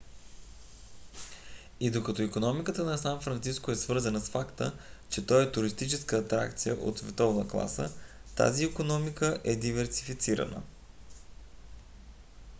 и докато икономиката на сан франциско е свързвана с факта че той е туристическа атракция от световна класа тази икономика е диверсифицирана